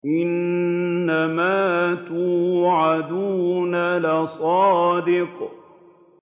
إِنَّمَا تُوعَدُونَ لَصَادِقٌ